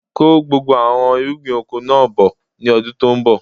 Kó gbogbo àwọn irúgbìn oko náà bọ̀ ni ọdún tòun bọ̀!